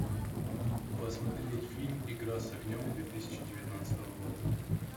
посмотреть фильм игра с огнем две тысячи девятнадцатого года